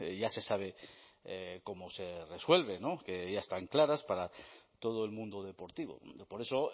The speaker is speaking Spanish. ya se sabe cómo se resuelve no que ya están claras para todo el mundo deportivo por eso